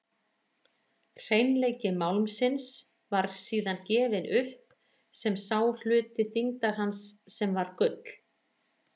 Hreinleiki málmsins var síðan gefinn upp sem sá hluti þyngdar hans sem var gull.